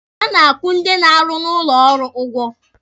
A na-akwụ ndị na-arụ n'ụlọ ọrụ ụgwọ.